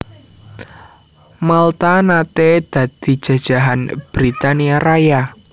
Malta naté dadi jajahan Britania Raya